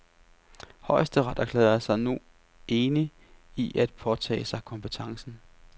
Højesteret erklærede sig nu enig i at påtage sig kompetencen.